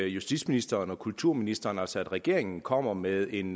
justitsministeren og kulturministeren altså regeringen kommer med en